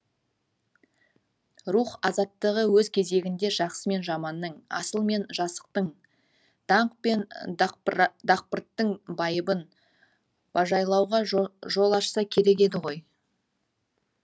рух азаттығы өз кезегінде жақсы мен жаманның асыл мен жасықтың даңқ пен дақпырттың байыбын бажайлауға жол ашса керек еді ғой